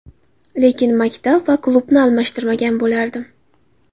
Lekin maktab va klubni aralashtirmagan bo‘lardim.